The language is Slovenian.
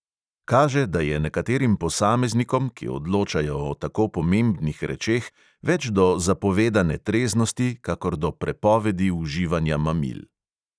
Kaže, da je nekaterim posameznikom, ki odločajo o tako pomebnih rečeh, več do zapovedane treznosti, kakor do prepovedi uživanja mamil.